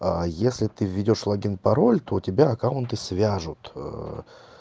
а если ты введёшь логин пароль то у тебя аккаунты свяжут